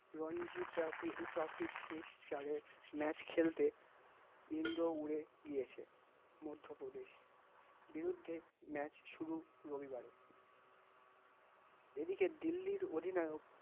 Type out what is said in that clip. Ranji trophy শেষ চারের match খেলতে ইন্দ্র উড়ে গিয়েছে মধ্য প্রদেশর, বিরুদ্ধে match শুরু রবিবারে এদিকে দিল্লির অধিনায়ক